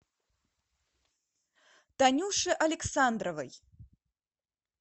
танюше александровой